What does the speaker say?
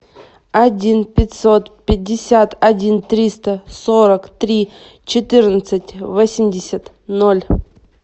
один пятьсот пятьдесят один триста сорок три четырнадцать восемьдесят ноль